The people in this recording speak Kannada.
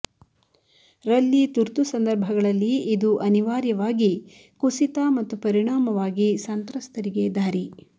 ರಲ್ಲಿ ತುರ್ತು ಸಂದರ್ಭಗಳಲ್ಲಿ ಇದು ಅನಿವಾರ್ಯವಾಗಿ ಕುಸಿತ ಮತ್ತು ಪರಿಣಾಮವಾಗಿ ಸಂತ್ರಸ್ತರಿಗೆ ದಾರಿ